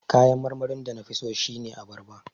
Kayan marmarin da na fi so shine abarba.